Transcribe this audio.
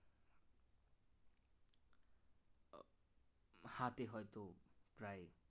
হাতে হয়তো প্রায়